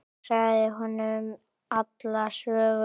Ég sagði honum alla söguna.